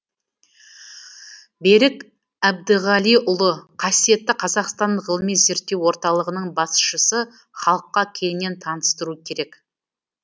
берік әбдіғалиұлы қасиетті қазақстан ғылыми зерттеу орталығының басшысы халыққа кеңінен таныстыру керек